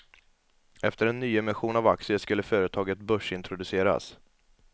Efter en nyemission av aktier skulle företaget börsintroduceras.